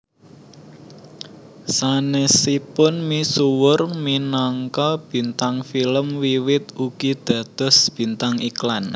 Sanesipun misuwur minangka bintang film Wiwit ugi dados bintang iklan